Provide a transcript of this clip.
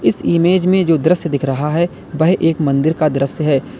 Image में जो दृश्य दिख रहा है वह एक मंदिर का दृश्य है।